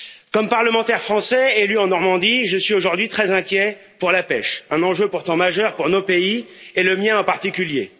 Comme parlementaire français élu en Normandie, je suis aujourd'hui très inquiet pour la pêche, un enjeu pourtant majeur pour nos pays et le mien en particulier.